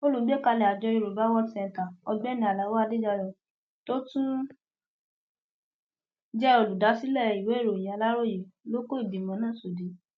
olùgbékalẹ àjọ yorùbá world centre ọgbẹni alao adédáyò tó tún jẹ olùdásílẹ ìwéèròyìn aláròye ló kó ìgbìmọ náà sódì